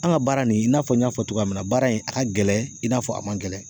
An ka baara nin i n'a fɔ n y'a fɔ cogoya min na baara in a ka gɛlɛn i n'a fɔ a man gɛlɛn